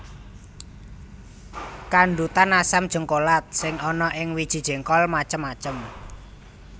Kandhutan asam jéngkolat sing ana ing wiji jéngkol macem macem